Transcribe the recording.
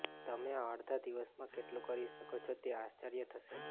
તમે આ અડધા દિવસમાં કેટલું કરી શકો છો તે આશ્ચર્ય થશે